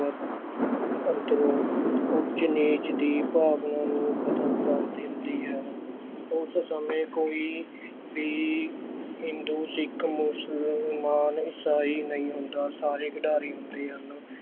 ਅੰਦਰੋਂ ਊਚ ਨੀਚ ਦੀ ਭਾਵਨਾ ਨੂੰ ਖ਼ਤਮ ਕਰ ਦਿੰਦੀ ਹੈ, ਉਸ ਸਮੇਂ ਕੋਈ ਵੀ ਹਿੰਦੂ, ਸਿੱਖ, ਮੁਸਲਮਾਨ, ਇਸਾਈ ਨਹੀਂ ਹੁੰਦਾ, ਸਾਰੇ ਖਿਡਾਰੀ ਹੁੰਦੇ ਹਨ।